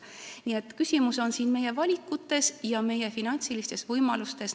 Nii et küsimus on meie valikutes ja meie finantsilistes võimalustes.